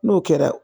N'o kɛra